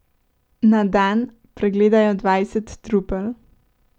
Na dan pregledajo dvajset trupel.